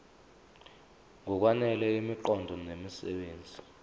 ngokwanele imiqondo nemisebenzi